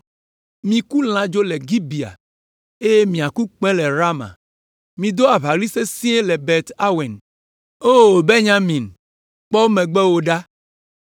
“Miku lãdzo le Gibea, eye miaku kpẽ le Rama. Mido aʋaɣli sesĩe le Bet Aven. O Benyamin, kpɔ megbewò ɖa!